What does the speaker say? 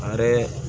A yɛrɛ